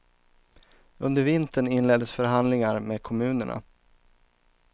Under vintern inleddes förhandlingar med kommunerna.